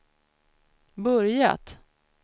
börjat